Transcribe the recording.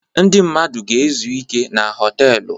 Ndị mmadụ ga-ezu ike na họtelụ.